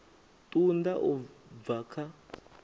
ṱun ḓa u bva kha